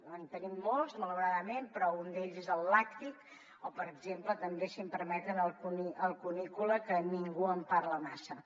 en tenim molts malauradament però un d’ells és el làctic o per exemple també si em permeten el cunícola que ningú en parla massa